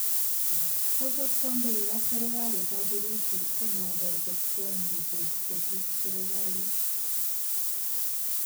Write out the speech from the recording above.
Okot kandoik ap serkalit ap urusi komaker kotkomuche kochut serkalit.